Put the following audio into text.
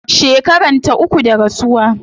Shekaranta uku da rasuwa